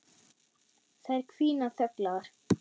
Þær hvína þöglar.